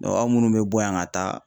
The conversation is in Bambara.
aw munnu bɛ bɔ yan ka taa